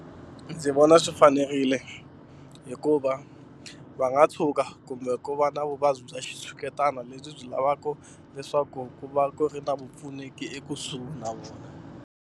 Ndzi vona swi fanerile hikuva va nga tshuka kumbe ku va na vuvabyi bya xitshuketano lebyi byi lavaka leswaku ku va ku ri na vupfuneki ekusuhi na vona.